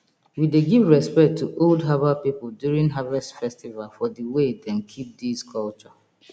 we dey give respect to old herbal people during harvest festival for the way dem keep these culture